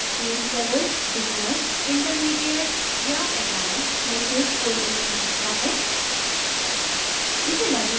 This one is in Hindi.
user experience levels beginner intermediate या advanced में से कोई एक हो सकता है